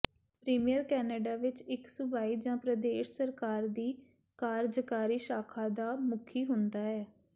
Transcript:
premier Canada ਵਿੱਚ ਇੱਕ ਸੂਬਾਈ ਜਾਂ ਪ੍ਰਦੇਸ਼ ਸਰਕਾਰ ਦੀ ਕਾਰਜਕਾਰੀ ਸ਼ਾਖਾ ਦਾ ਮੁਖੀ ਹੁੰਦਾ ਹੈ